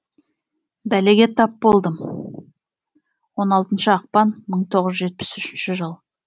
бәлеге тап болдым он алтыншы ақпан мың тоғыз жүз жетпіс үшінші жыл